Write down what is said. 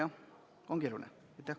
Aadu Must, palun!